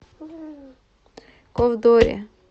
ковдоре